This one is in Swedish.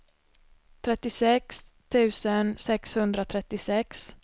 trettiosex tusen sexhundratrettiosex